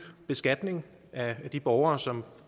beskatning af de borgere som